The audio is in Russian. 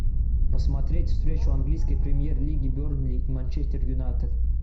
посмотреть встречу английской премьер лиги бернли и манчестер юнайтед